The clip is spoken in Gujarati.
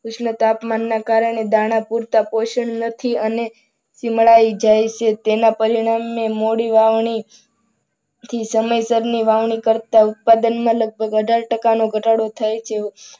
ઉષ્ણતાપમાન ના કારણે પૂરતા પોષણ નથી અને ચીમળાય જાય છે. તેના પરિણામે મોડી વાવણી થી સમયસર ની વાવણી કરતા ઉત્પાદનમાં લગભગ અઢાર ટકાનો ઘટાડો થાય છે.